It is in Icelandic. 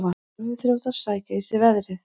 Tölvuþrjótar sækja í sig veðrið